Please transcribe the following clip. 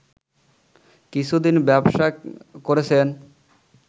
কিছুদিন ব্যবসা করেছেন